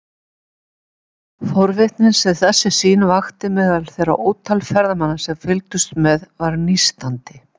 Forvitnin sem þessi sýn vakti meðal þeirra ótal ferðamanna sem fylgdust með var nístandi.